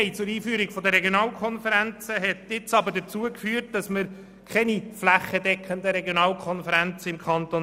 Die Freiwilligkeit zur Einführung der Regionalkonferenzen hat nun aber dazu geführt, dass wir im Kanton Bern keine flächendeckenden Regionalkonferenzen haben.